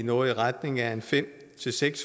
noget i retning af fem